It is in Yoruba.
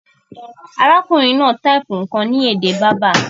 Arákùnrin náà type nkàn ni èdè Berber